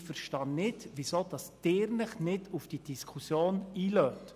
Ich verstehe nicht, weshalb Sie sich nicht auf diese Diskussion einlassen.